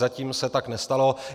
Zatím se tak nestalo.